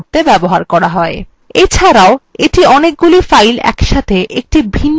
এছাড়াও এটি অনেকগুলি files একসাথে একটি ভিন্ন ডিরেক্টরিতে সরিয়ে নিয়ে যায়